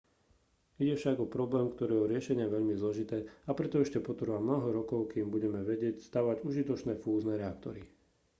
ide však o problém ktorého riešenie je veľmi zložité a preto ešte potrvá mnoho rokov kým budeme vedieť stavať užitočné fúzne reaktory